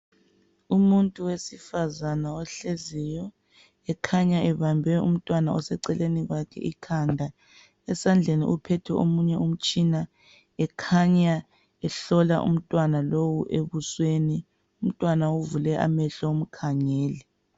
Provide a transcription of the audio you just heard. Umuntu wesifazana ohleziyo, ekhanya ebambe umntwana oseceleni kwakhe ikhanda. Esandleni uphethe omunye umtshina ekhanya ehlola umntwana lowu ebusweni, umntwana uvule amehlo umkhangele.